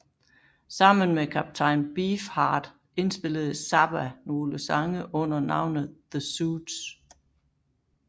Sammen med Captain Beefheart indspillede Zappa nogle sange under navnet The Soots